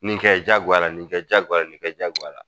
Nin kɛ jagoya la nin kɛ jagoya la nin kɛ jagoya la